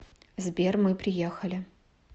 сбер мы приехали